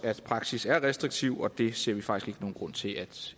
at praksis er restriktiv og det ser vi faktisk ikke nogen grund til at